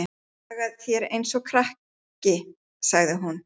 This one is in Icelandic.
Hagar þér eins og krakki, sagði hún.